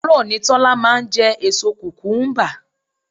Àárọ̀ ni Tọ́lá máa ń jẹ èso kukumuba.